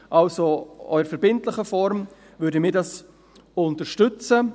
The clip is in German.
Auch in verbindlicher Form würden wir dies unterstützen.